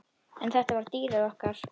En þetta var dýrið okkar.